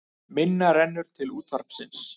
Minna rennur til útvarpsins